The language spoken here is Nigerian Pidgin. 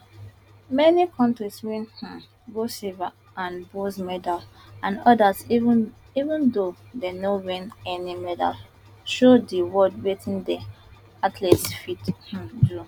many kontris win um gold silver and bronze medals and odas even though dem no win any medals show di world wetin dia athletes fit um do